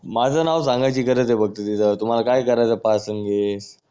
माझा नाव सांगायची गरज आहे फक्त तिथे तुम्हाला काय करायचा पास आणि हे